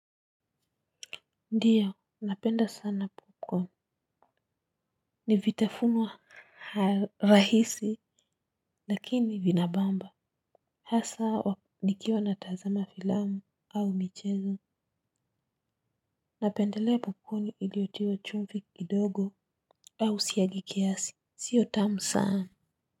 Ndiyo, napenda sana 'popcorn'. Ni vitafunwa rahisi, lakini vinabamba hasa nikiwa natazama filamu au michezo. Napendelea 'popcorn' iliyotiwa chumvi kidogo au siagi kiasi, siyo tamu sana.